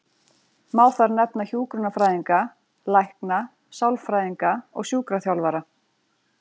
Má þar nefna hjúkrunarfræðinga, lækna, sálfræðinga og sjúkraþjálfara.